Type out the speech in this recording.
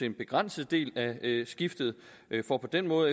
en begrænset del af skiftet for på den måde